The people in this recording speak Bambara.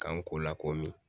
K'an ko la komi.